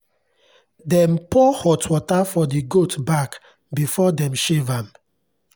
dem pour hot water for the goat back before dem shave am.